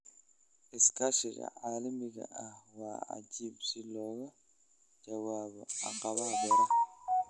Iskaashiga caalamiga ahi waa waajib si looga jawaabo caqabadaha beeraha.